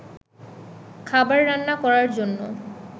খাবার রান্না করার জন্য